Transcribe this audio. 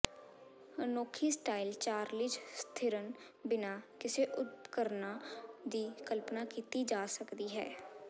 ਅਨੋਖੀ ਸਟਾਈਲ ਚਾਰਲੀਜ ਥਿਰਨ ਬਿਨਾਂ ਕਿਸੇ ਉਪਕਰਣਾਂ ਦੀ ਕਲਪਨਾ ਕੀਤੀ ਜਾ ਸਕਦੀ ਹੈ